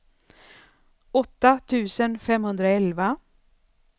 åtta tusen femhundraelva